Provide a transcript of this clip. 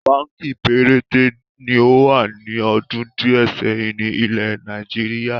Báńkì péréte ni ó wà ní ọdún di ẹ sẹ́yìn ni ilẹ̀ Nàìjíríà.